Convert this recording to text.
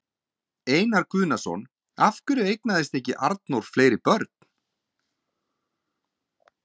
Einar Guðnason: Af hverju eignaðist Arnór ekki fleiri börn?